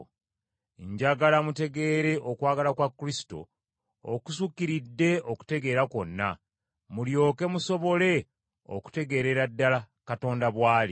Njagala mutegeere okwagala kwa Kristo okusukkiridde okutegeera kwonna, mulyoke musobole okutegeerera ddala Katonda bw’ali.